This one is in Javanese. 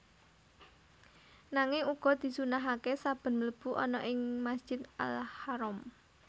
Nanging uga disunnahaké saben mlebu ana ing Masjid Al Haram